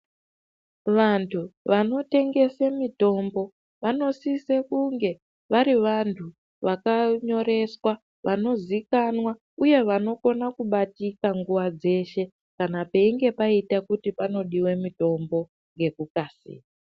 Vantu vanotengese mitombo vanosise kunge vari vantu vakanyoreswa, vanozikanwa uye vanokone kubatika nguva dzeshe kana peinge paita kuti panodiwa mitombo ngekukasira.